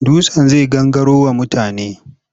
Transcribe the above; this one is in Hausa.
Dutsen zai gangaro wa mutane.